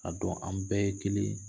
A dɔn an bɛɛ ye kelen ye.